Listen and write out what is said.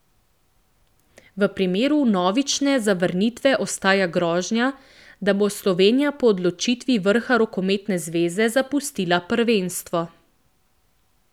V primeru vnovične zavrnitve ostaja grožnja, da bo Slovenija po odločitvi vrha rokometne zveze zapustila prvenstvo.